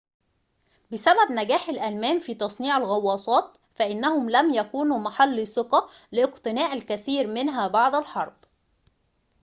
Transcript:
بسبب نجاح الألمان في تصنيع الغواصات فإنهم لم يكونوا محل ثقة لاقتناء الكثير منها بعد الحرب